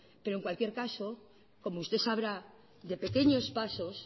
pero en cualquier caso como usted sabrá de pequeños pasos